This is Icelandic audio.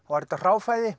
væri þetta